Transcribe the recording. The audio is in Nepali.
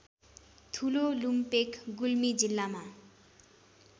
ठुलोलुम्पेक गुल्मी जिल्लामा